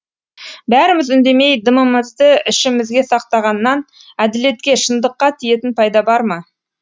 бәріміз үндемей дымымызды ішімізге сақтағаннан әділетке шындыққа тиетін пайда бар ма